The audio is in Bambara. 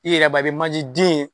I yɛrɛ b'a ye i bɛ manje den ye